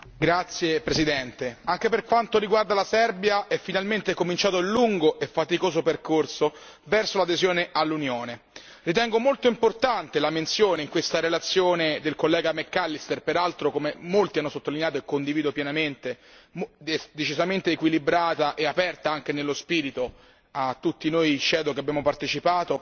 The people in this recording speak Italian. Signor Presidente, onorevoli colleghi, anche per quanto riguarda la Serbia è finalmente cominciato il lungo e faticoso percorso verso l'adesione all'Unione. Ritengo molto importante la menzione in questa relazione del collega McAllister, peraltro come molti hanno sottolineato e condivido pienamente decisamente equilibrata e aperta anche nello spirito a tutti noi relatori ombra che abbiamo partecipato,